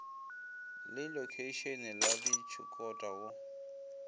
le lokheišene la tshikota go